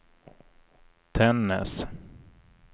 Tännäs